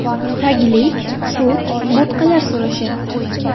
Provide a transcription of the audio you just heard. Taglik, sut, bo‘tqalar so‘rashyapti.